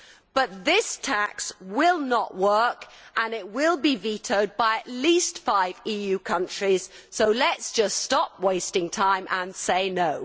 But this tax will not work and it will be vetoed by at least five EU countries. So let us just stop wasting time and say no.